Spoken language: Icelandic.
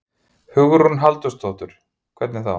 Hugrún Halldórsdóttir: Hvernig þá?